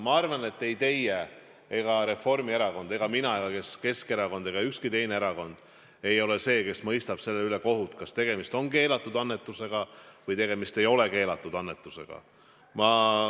Ma arvan, et ei teie ega Reformierakond ega mina ega Keskerakond ega ükski teine erakond ole see, kes mõistab kohut ja otsustab selle üle, kas tegemist on keelatud annetusega või tegemist ei ole keelatud annetusega.